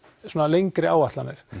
lengri áætlanir